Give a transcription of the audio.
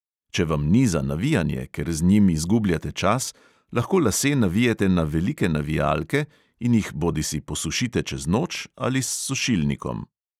Če vam ni za navijanje, ker z njim izgubljate čas, lahko lase navijete na velike navijalke in jih bodisi posušite čez noč ali s sušilnikom.